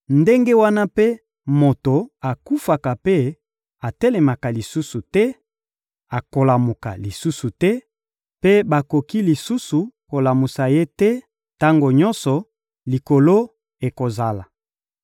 ndenge wana mpe moto akufaka mpe atelemaka lisusu te, akolamuka lisusu te mpe bakoki lisusu kolamusa ye te, tango nyonso likolo ekozala.